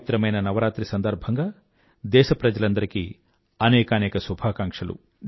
పవిత్రమైన నవరాత్రి సందర్భంగా దేశప్రజలందరికీ అనేకానేక శుభాకాంక్షలు